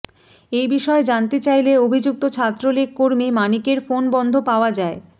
এ বিষয়ে জানতে চাইলে অভিযুক্ত ছাত্রলীগ কর্মী মানিকের ফোন বন্ধ পাওয়া যায়